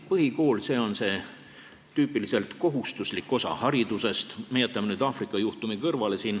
Põhikool on tüüpiliselt kohustuslik osa haridusest .